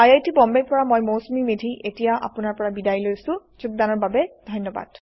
I I T Bombay ৰ পৰা মই মৌচুমী মেধী এতিয়া আপুনাৰ পৰা বিদায় লৈছো যোগদানৰ বাবে ধন্যবাদ